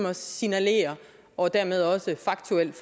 at signalere og dermed også faktuelt